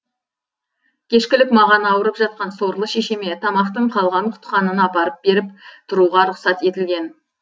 кешкілік маған ауырып жатқан сорлы шешеме тамақтың қалған құтқанын апарып беріп тұруға рұқсат етілген